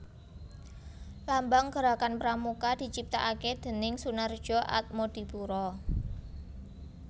Lambang Gerakan Pramuka diciptakake déning Soenardjo Atmodipuro